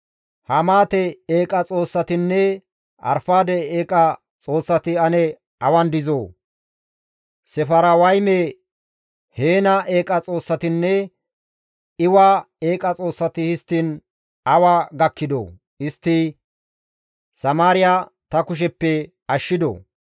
Hamaate eeqa xoossatinne Arfaade eeqa xoossati ane awan dizoo? Sefarwayme, Heena eeqa xoossatinne Iwa eeqa xoossati histtiin awa gakkidoo? Istti Samaariya ta kusheppe ashshidoo?